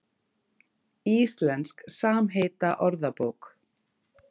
Íslensk samheitaorðabók.